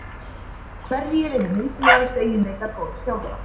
Hverjir eru mikilvægustu eiginleikar góðs þjálfara?